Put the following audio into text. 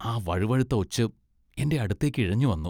ആ വഴുവഴുത്ത ഒച്ച് എന്റെ അടുത്തേക്ക് ഇഴഞ്ഞുവന്നു.